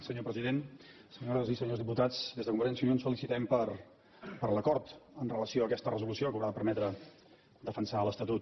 senyor president senyores i senyors diputats des de convergència i unió ens felicitem per l’acord amb relació a aquesta resolució que haurà de permetre defensar l’estatut